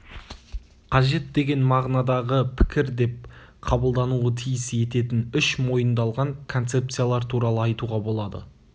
қажет деген мағынадағы пікір деп қабылдануы тиіс ететін үш мойындалған концепциялар туралы айтуға болады